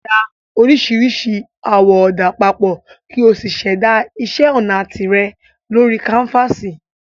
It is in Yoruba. Da oríṣiríṣi àwọ̀ ọ̀dà papọ̀ kí o sì ṣẹ̀dá iṣẹ́ ọnà tìrẹ lórí káńfàsì